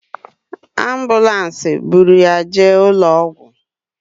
Ambụlansi bụrụ ya jee ụlọ ọgwụ